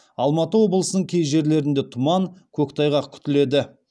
алматы облысының кей жерлерінде тұман көктайғақ күтіледі